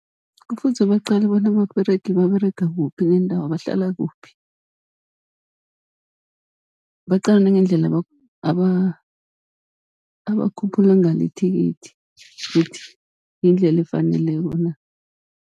Kufuze baqale bona ababeregi baberega kuphi nendawo bahlala kuphi, baqale nangendlela abakhuphula ngalo ithikithi kuthi yindlela efaneleko na.